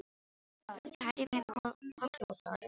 Ég kæri mig kollótta um þær.